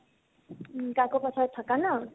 উম, কাকোপথাৰত থাকা ন ?